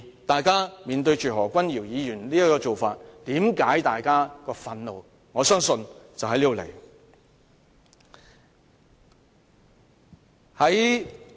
大家看見何君堯議員的表現之所以感到憤怒，我相信就是出於這原因。